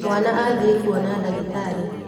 Mwana athiĩkuona ndagĩtarĩ.